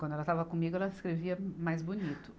Quando ela estava comigo, ela escrevia mais bonito.